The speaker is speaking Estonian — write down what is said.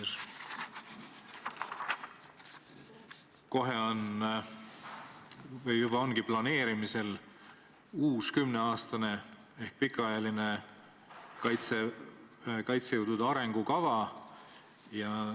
Kohe jõuab planeerimisele või juba ongi planeerimisel uus kümneaastane ehk pikaajaline kaitsejõudude arengukava.